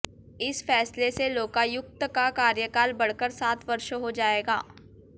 इस फैसले से लोकायुक्त का कार्यकाल बढ़कर सात वर्ष हो जाएगा